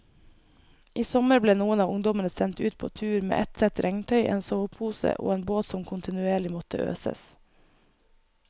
I sommer ble noen av ungdommene sendt ut på tur med ett sett regntøy, en sovepose og en båt som kontinuerlig måtte øses.